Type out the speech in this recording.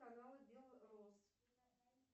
канал бел роз